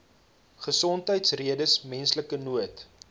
gesondheidsredes menslike nood